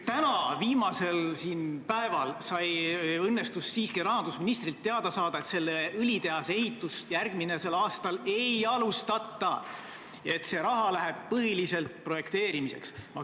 Täna, viimasel päeval õnnestus siiski rahandusministrilt teada saada, et õlitehase ehitust järgmisel aastal ei alustata, et see raha läheb põhiliselt projekteerimiseks.